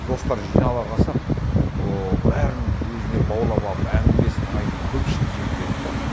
достар жинала қалсақ ол бәрін өзіне баурап алып әңгімесін айтып көпшіл жігіт еді да